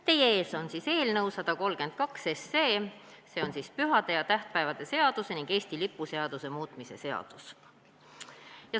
Teie ees on eelnõu 132, pühade ja tähtpäevade seaduse ning Eesti lipu seaduse muutmise seaduse eelnõu.